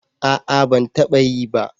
A'a ban taba yi ba